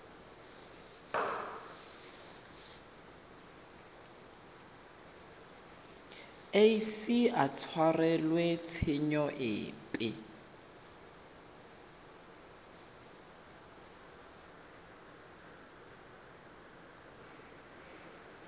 ise a tshwarelwe tshenyo epe